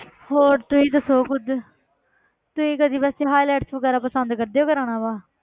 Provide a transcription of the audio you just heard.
ਹੋਰ ਤੁਸੀਂ ਦੱਸੋ ਕੁੱਝ ਤੁਸੀਂ ਕਦੇ ਵੈਸੇ highlights ਵਗ਼ੈਰਾ ਪਸੰਦ ਕਰਦੇ ਹੋ ਕਰਵਾਉਣਾ ਵਾ,